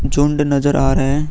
झुंड नजर आ रहे हैं |